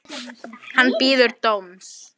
Hann bíður dóms.